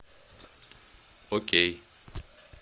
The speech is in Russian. окей